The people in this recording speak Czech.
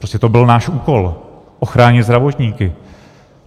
Prostě to byl náš úkol ochránit zdravotníky.